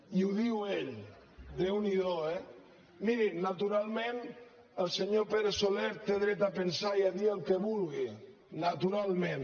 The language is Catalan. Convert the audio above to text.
i ho diu ell déu n’hi do eh miri naturalment el senyor pere soler té dret a pensar i a dir el que vulgui naturalment